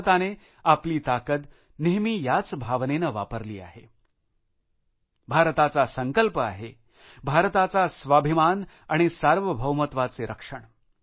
भारताने आपली ताकद नेहमी याच भावनेने वापरली आहे भारताचा संकल्प आहे भारताचा स्वाभिमान आणि सार्वभौमत्वाचे रक्षण